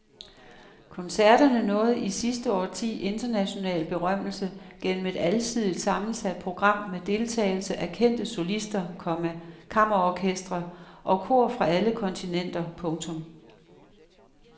Koncerterne nåede i sidste årti international berømmelse gennem et alsidigt sammensat program med deltagelse af kendte solister, komma kammerorkestre og kor fra alle kontinenter. punktum